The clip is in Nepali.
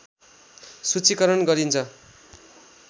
सूचीकरण गरिन्छ